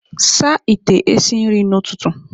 Saa ite esi nri n'ụtụtụ!